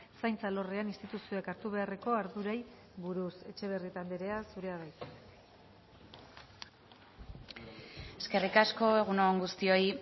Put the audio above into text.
zaintza alorrean instituzioek hartu beharreko ardurei buruz etxebarrieta andrea zurea da hitza eskerrik asko egun on guztioi